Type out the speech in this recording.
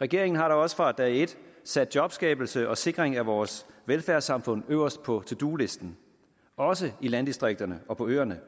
regeringen har da også fra dag et sat jobskabelse og sikring af vores velfærdssamfund øverst på to do listen også i landdistrikterne og på øerne